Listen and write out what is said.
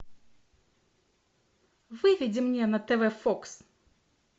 выведи мне на тв фокс